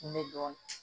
Kun bɛ dɔn